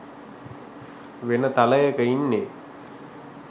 වෙන තලයක ඉන්නේ